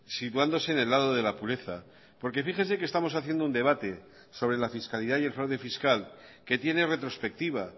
situándose en el lado de la pureza porque fíjese que estamos haciendo un debate sobre la fiscalidad y el fraude fiscal que tiene retrospectiva